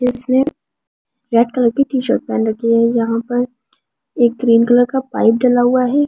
इसने red colour की T shirt पहन रखी है यहां पर एक ग्रीन कलर का पाइप डला हुआ है।